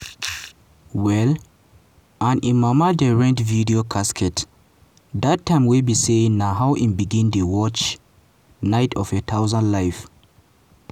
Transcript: well and im mama dey rent video casette dat time wey be say na how im begin watch 'night of a thousand life.'